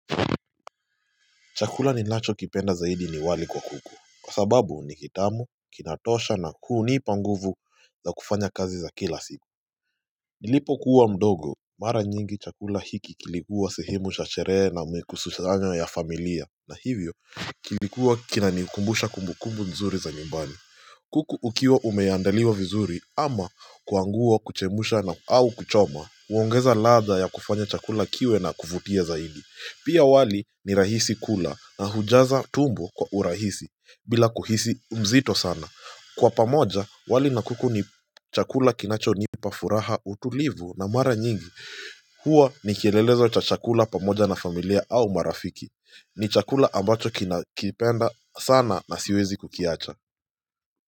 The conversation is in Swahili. Chakula ninachokipenda zaidi ni wali kwa kuku, kwa sababu ni kitamu, kinatosha na kunipa nguvu za kufanya kazi za kila siku. Nilipokuwa mdogo mara nyingi chakula hiki kilikuwa sehemu cha sherehe na mikususanyo ya familia na hivyo kilikuwa kinanikumbusha kumbukumbu nzuri za nyumbani. Kuku ukiwa umeandaliwa vizuri ama kuanguo kuchemusha na au kuchoma, uongeza latha ya kufanya chakula kiwe na kuvutia zaidi. Pia wali ni rahisi kula na hujaza tumbo kwa urahisi. Bila kuhisi u mzito sana. Kwa pamoja, wali na kuku ni chakula kinachonipa furaha, utulivu na mara nyingi huwa ni kielelezo cha chakula pamoja na familia au marafiki. Ni chakula ambacho kinakipenda sana na siwezi kukiacha.